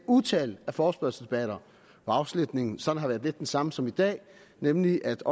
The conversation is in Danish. utal af forespørgselsdebatter hvor afslutningen sådan har været lidt den samme som i dag nemlig at